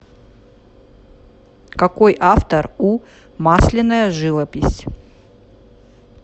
какой автор у масляная живопись